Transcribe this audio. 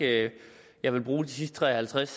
jeg ikke jeg vil bruge de sidste tre og halvtreds